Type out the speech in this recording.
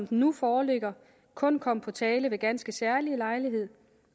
den nu foreligger kun komme på tale ved ganske særlige lejligheder